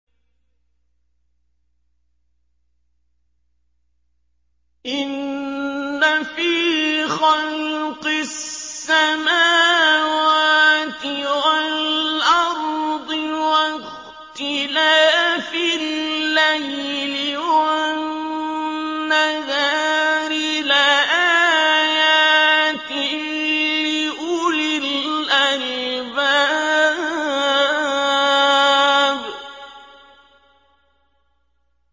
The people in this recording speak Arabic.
إِنَّ فِي خَلْقِ السَّمَاوَاتِ وَالْأَرْضِ وَاخْتِلَافِ اللَّيْلِ وَالنَّهَارِ لَآيَاتٍ لِّأُولِي الْأَلْبَابِ